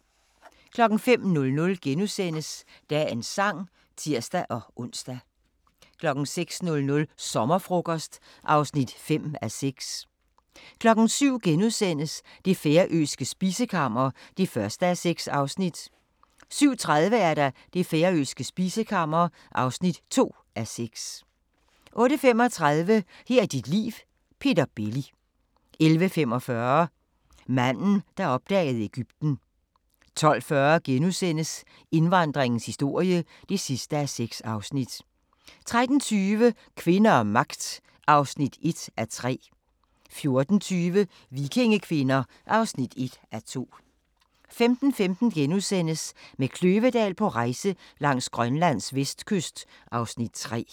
05:00: Dagens Sang *(tir-ons) 06:00: Sommerfrokost (5:6) 07:00: Det færøske spisekammer (1:6)* 07:30: Det færøske spisekammer (2:6) 08:35: Her er dit liv – Peter Belli 11:45: Manden, der opdagede Egypten 12:40: Indvandringens historie (6:6)* 13:20: Kvinder og magt (1:3) 14:20: Vikingekvinder (1:2) 15:15: Med Kløvedal på rejse langs Grønlands vestkyst (Afs. 3)*